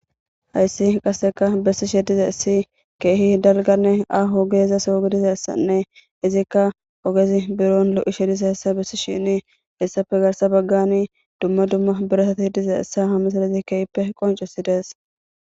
Hayssi qasseka bessi she diza issi keehi dalganne a hogeeza soogi diza essanne izikka ogezi biron lo7i she diza essa bessi shini hessafe garsa baggani dumma dumma birasati diza essa hame sadizi keehppe qoncesi dees.